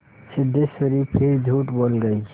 सिद्धेश्वरी फिर झूठ बोल गई